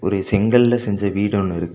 இது செங்கல்ல செஞ்ச வீடொன்னு இருக்கு.